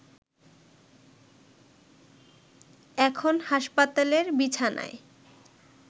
এখন হাসপাতালের বিছানায়